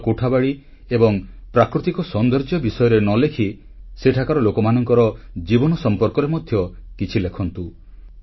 କେବଳ କୋଠାବାଡ଼ି ଏବଂ ପ୍ରାକୃତିକ ସୌନ୍ଦର୍ଯ୍ୟ ବିଷୟରେ ନ ଲେଖି ସେଠାକାର ଲୋକମାନଙ୍କ ଜୀବନ ସମ୍ପର୍କରେ ମଧ୍ୟ କିଛି ଲେଖନ୍ତୁ